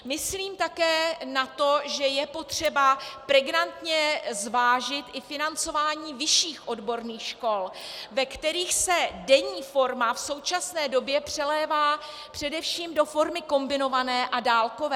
Myslím také na to, že je potřeba pregnantně zvážit i financování vyšších odborných škol, ve kterých se denní forma v současné době přelévá především do formy kombinované a dálkové.